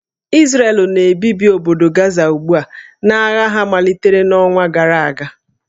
Izrel na-ebibi obodo Gaza ugbu a n'agha ha malitere n'ọnwa gara aga